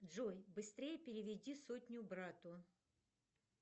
джой быстрее переведи сотню брату